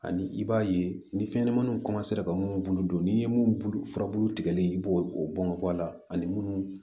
Ani i b'a ye ni fɛnɲɛnɛmaninw ka minnu bolo don n'i ye mun furabulu tigɛlen i b'o bɔn bɔn a la ani minnu